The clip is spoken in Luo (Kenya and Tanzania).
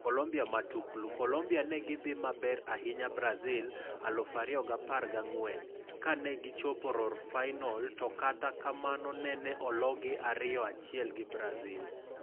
Colombia Matuklu: Colombia ne gi dhi maber ahinya Brazil 2014 kanegi chopo rorfainolto kata kamano nene ologi 2-1 gi Brazil.